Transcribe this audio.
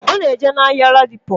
Ona eje na ahia aldipo.